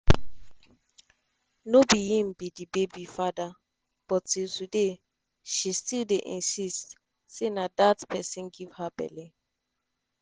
no be im be di baby father but till today she still dey insist say na dat pesin give her belle.